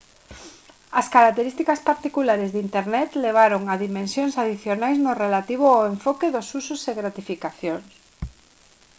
as características particulares de internet levaron a dimensións adicionais no relativo ao enfoque dos usos e gratificacións